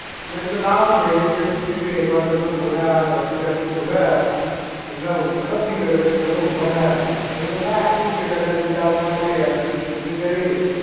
તો મેં કીધું લાવ જૈનિશ ભાઈને પૂછી જોવું એક વાર તમને રસ્તે અમે જોયા તમને હુંકારો બી કર્યો પણ તમે ઉભા ના રહ્યા અવે મને લાગ્યું કે કદાચ ઉતાવળમાં હશે અને ટીશર્ટ બી પહેરેલી